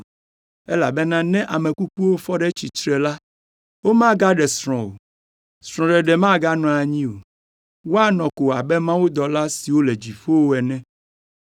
elabena ne ame kukuwo fɔ ɖe tsitre la, womagaɖe srɔ̃ o, srɔ̃ɖeɖe maganɔ anyi o. Woanɔ ko abe mawudɔla siwo le dziƒo ene.